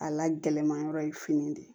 A la gɛlɛnmanyɔrɔ ye fini de